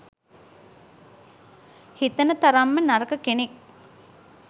හිතන තරම්ම නරක කෙනෙක්